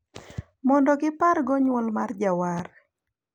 Mondo gipargo nywol mar jawar.